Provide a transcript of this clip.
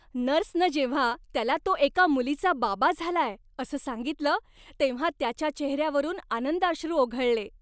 नर्सनं जेव्हा त्याला तो एका मुलीचा बाबा झालाय असं सांगितलं, तेव्हा त्याच्या चेहऱ्यावरून आनंदाश्रू ओघळले.